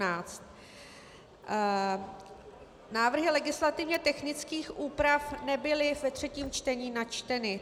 Návrhy legislativně technických úprav nebyly ve třetím čtení načteny.